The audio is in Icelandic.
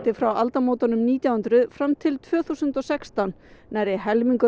frá aldamótunum nítján hundruð fram til tvö þúsund og sextán nærri helmingur